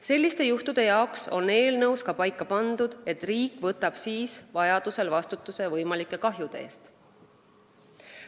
Selliste juhtude puhuks on eelnõusse kirja pandud, et kui vaja, vastutab riik võimalike kahjude eest.